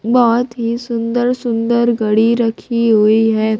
बहोत ही सुंदर सुंदर घड़ी रखी हुई है।